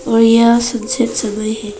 और यह सबसे समय है।